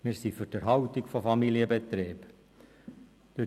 Wir sind für die Erhaltung von Familienbetrieben.